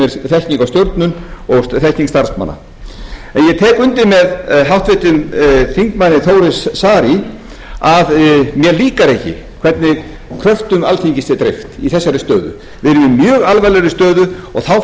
er þekking á stjórnun og þekking starfsmanna en ég tek undir með háttvirtum þingmanni þór saari að mér líkar ekki hvernig kröftum alþingis er dreift í þessari stöðu við erum í mjög alvarlegri stöðu og þá fara